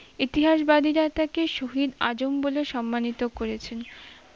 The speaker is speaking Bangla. ইতিহাস বাদিরা তাকে শহীদ আজম বলে সম্মানিত করেছেন